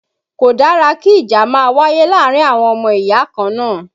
Kò dára kí ìjà máa wáyé láàárín àwọn ọmọ ìyá kan náà